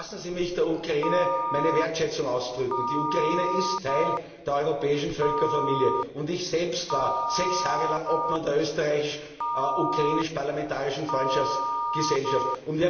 Lassen Sie mich der Ukraine meine Wertschätzung ausdrücken. Die Ukraine ist Teil der europäischen Völkerfamilie, und ich selbst war sechs Jahre lang Obmann der Österreichisch Ukrainischen Parlamentarischen Freundschaftsgesellschaft.